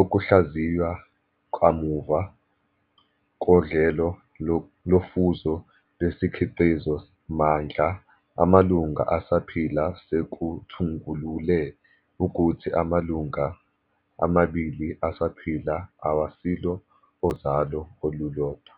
Ukuhlaziywa kwakamuva koDlelo lofuzo lesikhiqizi mandla amalunga asaphila sekuthungulule ukuthi amalunga amabili asaphila awasilo ozalo olulodwa.